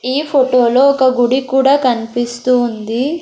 ఈ ఫొటోలో ఒక గుడి కూడా కన్పిస్తూ ఉంది.